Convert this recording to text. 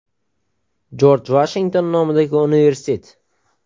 Jorj Vashington nomidagi universitet.